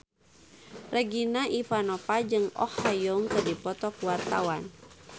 Regina Ivanova jeung Oh Ha Young keur dipoto ku wartawan